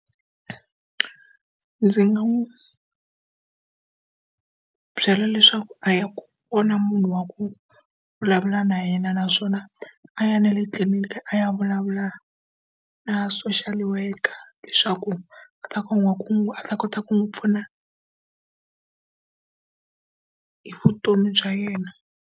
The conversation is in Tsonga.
Ndzi nga n'wi byela leswaku a ya vona munhu wa ku vulavula na yena naswona a ya na le tliliniki a ya vulavula na social worker leswaku a ta kota ku n'wi pfuna hi vutomi bya yena.